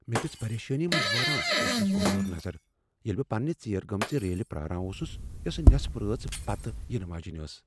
مے٘ دِژ پریشٲنی منز وٲران سٹیشنس اورٕ یور نظر ییٚلہ بہٕ پنٛنہ ژیٖرِ گٲمژِ ریلہِ پراران اوسٗس یوسہٕ نیصف رٲژ پتہٕ یِنہٕ واجینہِ ٲس ۔